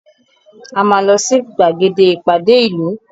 A máa lọ sí gbàgede ìpàdé ìlú